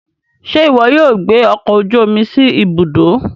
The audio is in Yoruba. Ṣe iwọ yóò gbé ọkọ ojú omi sí Ibùdó